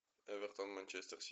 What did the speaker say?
эвертон манчестер сити